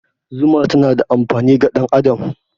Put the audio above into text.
Zuma tana da amfani ga ɗan adam.